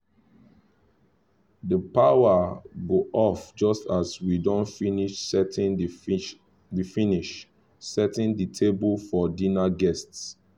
the power go off just as we don finish setting the finish setting the table for dinner guests